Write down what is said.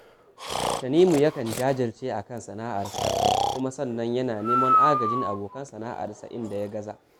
Tanimu yakan jajirce a kan sana’arsa, sannan kuma yana neman agajin abokan sana’arsa a inda ya gaza